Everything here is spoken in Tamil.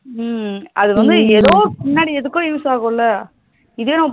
உம் அது வந்து எதோ பின்னாடி எதுக்கோ use ஆகும்ல இதே